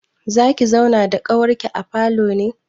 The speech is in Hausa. Zaki zauna da ƙawarki a falo ne?